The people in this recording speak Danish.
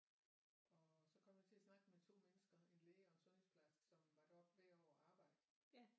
Og så kom jeg til at snakke med 2 mennesker en læge og en sundhedsplejerske som var deroppe hvert år og arbejde